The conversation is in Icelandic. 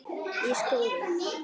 Í skóla?